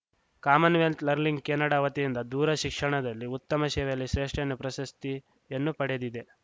Commonwealth Learning Canada ವತಿಯಿಂದ ದೂರಶಿಕ್ಷಣದಲ್ಲಿ ಉತ್ತಮ ಸೇವೆಯಲ್ಲಿ ಶ್ರೇಷ್ಠಯನ್ನು ಪ್ರಶಸ್ತಿಯನ್ನು ಪಡೆದಿದೆ